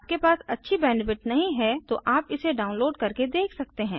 यदि आपके पास अच्छी बैंडविड्थ नहीं है तो आप इसे डाउनलोड करके देख सकते हैं